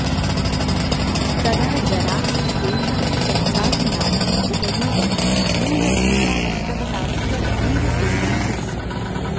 तदा जनाः स्वेषां संसाधनानाम् उपयोगं मूलभूतावश्यकताभ्यः एव कुर्वन्ति स्म